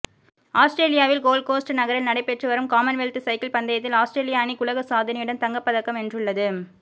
ஆஸ்திரேலியாவில் கோல்ட்கோஸ்ட் நகரில் நடைபெற்று வரும் காமன்வெல்த் சைக்கிள் பந்தயத்தில் ஆஸ்திரேலிய அணி உலக சாதனையுடன் தங்கப்பதக்கம் வென்றுள்ளது